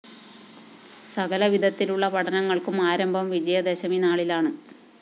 സകലവിധത്തിലുള്ള പഠനങ്ങള്‍ക്കും ആരംഭം വിജയദശമിനാളിലാണ്